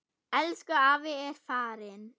Elsku afi er farinn.